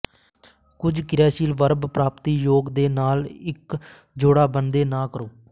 ਕੁਝ ਕ੍ਰਿਯਾਸ਼ੀਲ ਵਰਬ ਪ੍ਰਾਪਤੀ ਯੋਗ ਦੇ ਨਾਲ ਇੱਕ ਜੋੜਾ ਬਣਦੇ ਨਾ ਕਰੋ